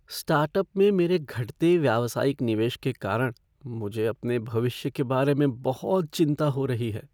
Startup में मेरे घटते व्यावसायिक निवेश के कारण मुझे अपने भविष्य के बारे में बहुत चिंता हो रही है।